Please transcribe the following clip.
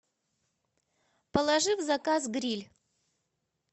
положи в заказ гриль